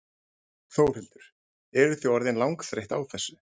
Þórhildur: Eruð þið orðin langþreytt á þessu?